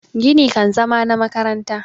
gini kan zama na makaranta